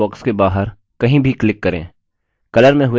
text box के बाहर कहीं भी click करें